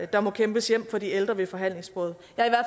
der må kæmpes hjem for de ældre ved forhandlingsbordet